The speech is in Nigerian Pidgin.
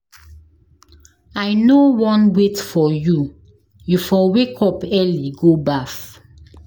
I no wan wait for you, you for wake up early go baff.